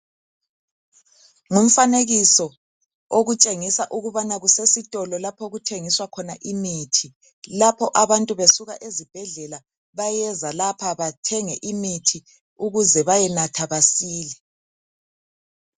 Ngumfanekiso okutshengisa ukubana kusesitolo lapho okuthengiswa khona imithi lapho abantu besuka ezibhedlela bayeza lapha bathenge imithi ukuze bayenatha basile.